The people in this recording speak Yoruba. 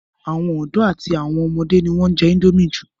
àwọn ọ̀dọ́ àti àwọn ọmọdé ni wọ́n ń jẹ́ índómì jù